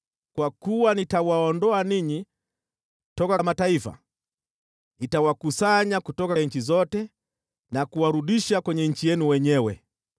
“ ‘Kwa kuwa nitawaondoa ninyi toka mataifa, nitawakusanya kutoka nchi zote na kuwarudisha kwenye nchi yenu wenyewe.